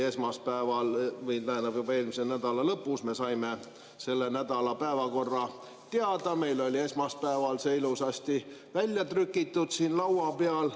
Juba eelmise nädala lõpus me saime selle nädala päevakorra teada, meil oli esmaspäeval see ilusasti väljatrükitult siin laua peal.